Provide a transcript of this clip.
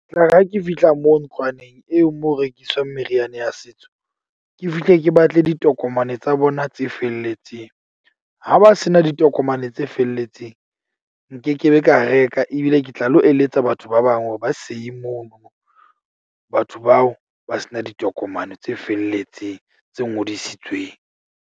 Ke tlare ha ke fihla moo ntlwaneng eo moo ho rekiswang meriana ya setso. Ke fihle ke batle ditokomane tsa bona tse felletseng. Ha ba se na ditokomane tse felletseng, nkekebe ka reka ebile ke tla lo eletsa batho ba bang hore ba seye mono. Batho bao ba se na ditokomane tse felletseng tse ngodisitsweng.